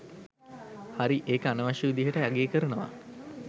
හරි ඒක අනවශ්‍ය විදිහට අගේ කරනවා.